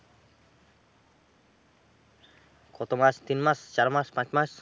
কত মাস? তিন মাস, চার মাস, পাঁচ মাস?